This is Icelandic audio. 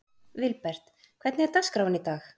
Vilbert, hvernig er dagskráin í dag?